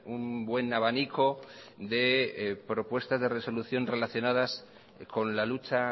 un buen abanico de propuestas de resolución relacionadas con la lucha